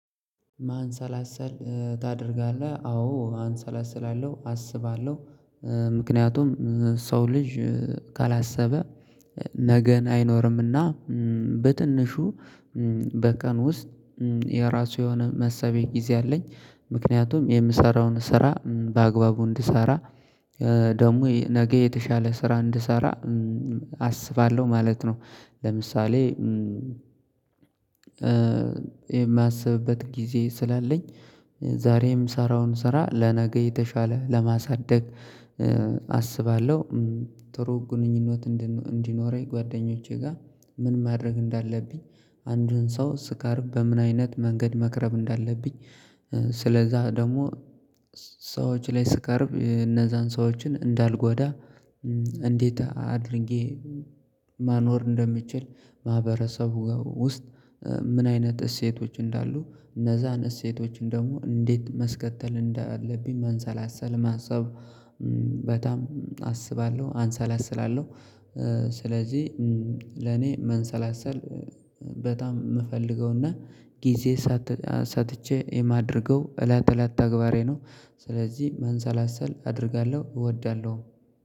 ማንሰላሰል ታደርጋለህ አዎ ማንሰላሰል አለው አስባለሁ። ምክንያቱም ሰው ልጅ ካላሰበ ነገን አይኖርምና በትንሹ በቀን ውስጥ የራሱ የሆነ መሰቢያ ጊዜ አለኝ። ምክንያቱም የምሰራውን ስራ በአግባቡ እንድሰራ ደግሞ ነገ የተሻለ ስራ እንድሰራ አስባለሁ ማለት ነው። ለምሳሌ የማስብበት ጊዜ ስላለኝ ዛሬም ምሰራውን ስራ ለነገ የተሻለ ለማሳደግ አስባለሁ። ጥሩ ግንኙነት እንዲኖረኝ ጓደኞቼ ጋር ምን ማድረግ እንዳለብኝ አንዱን ሰው ስቀርብ በምን አይነት መንገድ መቅረብ እንዳለብኝ። ስለዛ ደግሞ ሰዎች ላይ ስቀርብ እነዛን ሰዎችን እንዳልጓዳ። እንዴት አድርጌ ማኖር እንደምችል። ማህበረሰቡ ጋር ውስጥ ምን አይነት እሴቶች እንዳሉ እነዛን እሴቶችን ደግሞ እንዴት ማስከጠል እንዳለብኝ መንሰላሰል ማሰብ በጣም አስባለሁ አንሰላስላለሁ። ስለዚህ ለኔ መንሰላሰል በጣም የምፈልገውና ጊዜ ሰጥቼ የማደርገው እለት እለት ተግባሬ ነው። ስለዚህ መንሰላሰል አደርጋለሁ እወዳለሁ